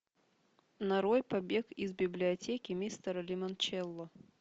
нарой побег из библиотеки мистера лимончелло